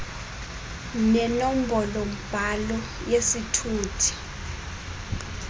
nenombolo mbhalo yesithuthi